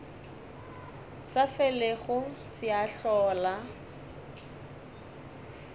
sa felego se a hlola